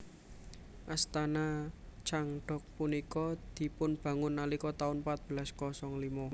Astana Changdok punika dipunbangun nalika taun patbelas kosong limo